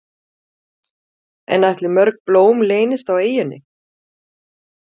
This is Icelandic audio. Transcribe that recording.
En ætli mörg blóm leynist á eyjunni?